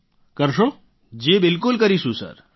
રાજેશ પ્રજાપતિઃ જી બિલકુલ કરીશું સર